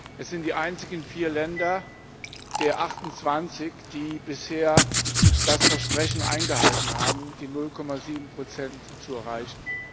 Es sind die einzigen vier Länder der 28, die bisher das Versprechen eingehalten haben, die 0,7 zu erreichen.